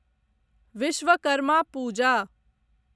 Vishwakarma Puja